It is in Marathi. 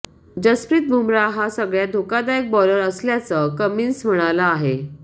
जसप्रीत बुमराह हा सगळ्यात धोकादायक बॉलर असल्याचं कमिन्स म्हणाला आहे